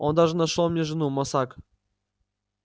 он даже нашёл мне жену мосаг